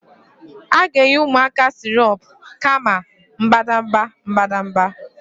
A ga-enye ụmụaka sirop kama mbadamba mbadamba